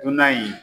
Dunan in